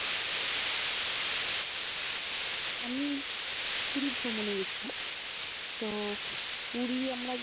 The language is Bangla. আমি পুরি ভ্রমন এ গেছিলাম, তো পুরি আমরা